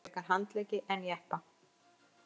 Frekar handleggi en jeppa